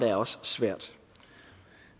er også svært